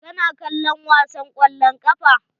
Ka na kallom wasan kwallon kafa?